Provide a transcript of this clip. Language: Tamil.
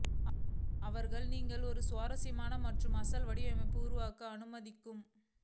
அவர்கள் நீங்கள் ஒரு சுவாரஸ்யமான மற்றும் அசல் வடிவமைப்பு உருவாக்க அனுமதிக்கும்